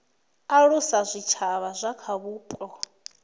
alusa zwitshavha zwa kha vhupo